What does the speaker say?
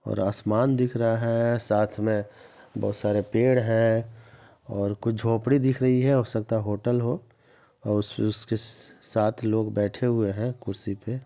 और आसमान दिख रहा है। साथ में बहोत सारे पेड़ हैं और कुछ झोपड़ी दिख रही है हो सकता है होटल हो और उस उसके स स साथ लोग बैठे हुए हैं कुर्सी पे ।